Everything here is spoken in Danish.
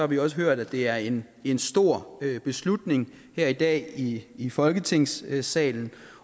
vi også hørt at det er en en stor beslutning her i dag i i folketingssalen